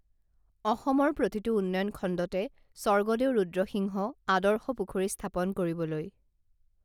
অসমৰ প্ৰতিটো উন্নয়ন খণ্ডতে স্বৰ্গদেউ ৰুদ্ৰসিংহ আদৰ্শ পুখুৰী স্থাপন কৰিবলৈ